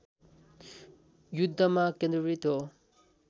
युद्धमा केन्द्रित हो